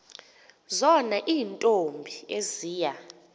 zona iintombi eziya